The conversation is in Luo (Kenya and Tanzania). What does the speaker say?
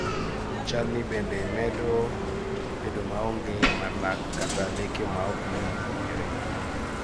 chalni bende bedo maonge mar lak kata leke maok yi mowinjore